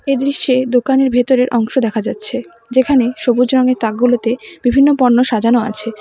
এ দৃশ্যে দোকানের ভেতরের অংশ দেখা যাচ্ছে যেখানে সবুজ রঙের তাকগুলোতে বিভিন্ন পণ্য সাজানো আছে।